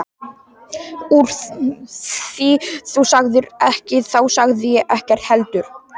Úr því þú sagðir ekkert þá sagði ég ekkert heldur.